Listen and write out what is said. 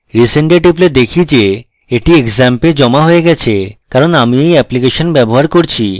resend এ টিপলে দেখি এটি xampp এ জমা হয়ে গেছে কারণ আমি এই অ্যাপ্লিকেশন ব্যবহার করছি